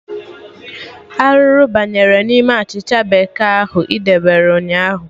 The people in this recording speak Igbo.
Arụrụ abanyere n'ime achịcha bekee ahụ ị debere ụnyaahụ?